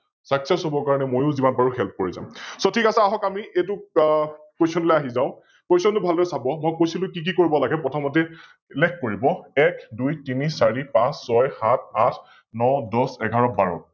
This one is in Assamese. Sucsses হবৰ বাবে মইও যিমান পাৰো Help কৰি যাম । So ঠিক আছে আহক আমি এইতু Question লৈ আহি যাও, Question টো ভালদৰে চাব, মই কৈছিলো কি কি কৰিব লাগে, প্ৰথমতে উল্লেখ কৰিব এক, দুই, তিনি, চাৰি, পাচ, ছয়, সাত, আঠ, ন, দহ, এঘাৰ, বাৰ